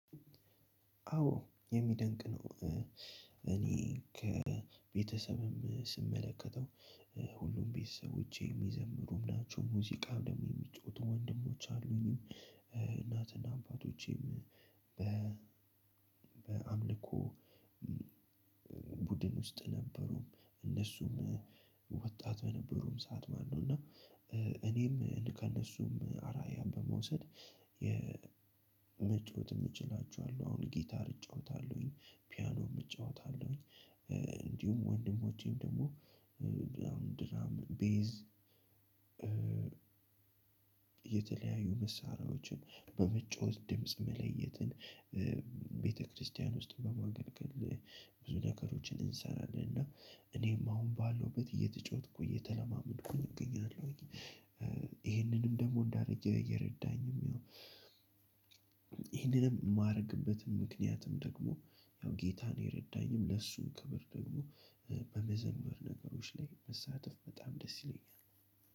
አዎ የሚደንቅ ነው። እኔ ከቤተሰብም ስመለከተው ሁሉም ቤተሰቦቼ የሚዘምሩ ናቸው። ሙዚቃም ደግሞ የሚጫወቱ ወንድሞች አሉኝም። አባቶቼም በ በአምልኮ ቡድን ውስጥ ነበሩ። እነሱም ወጣት በነበሩም ሰዓት ማለትነው። እና እኔም ከእነሱም አርአያ በመውሰድ መጫወት እምችላቸው አሉ። አሁን ጊታር እጫወታለሁኝ ፒያኖም እጫወታለሁኝ። እንዲሁም ወንድሞቼም ደግሞ ቤዝ የተለያዩ መሳሪያዎችን በመጫወት ድምጽ መለየትን ቤተክርስቲያን ውስጥ በማገልገል ብዙ ነገሮችን እንሰራለን። እና እኔም አሁን ባለውበት እየተጫወትኩ እየተለማመድኩኝ አገኛለሁኝ። ይሄንንም ደግሞ እንዳረግ እየረዳኝም። ይሄንንም የማደርግበትም ምክንያትም ደግሞ ያው ጌታን የረዳኝም ለሱም ክብር ደግሞ በመዘመር ነገሮች ላይ መሳተፍ በጣም ደስ ይለኛል።